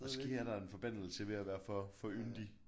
Måske er der en forbandelse ved at være for for yndig